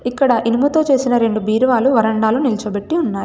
ఇక్కడ ఇనుముతో చేసిన రెండు బీరువాలు వరండాలో నిల్చోబెట్టి ఉన్నాయ్.